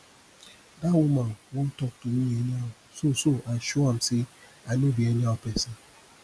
dat woman wan talk to me anyhow so so i show am say i no be anyhow person